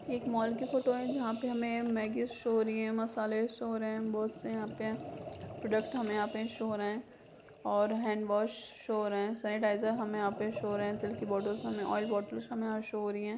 एक मॉल की फोटो है। जहाँ पे हमे मैगी शो हो रही हैं मसाले शो हो रहे हैं बहोत से यहाँ पे प्रॉडक्ट हमें यहाँ पे शो हो रहे हैं और हैंडवॉश शो हो रहे हैं। सेनिटीजर हमें यहाँ पे शो हो रहे हैं। तेल की बोटेल्स हमे ऑइल बोटेल्स हमें यहाँ शो हो रही हैं।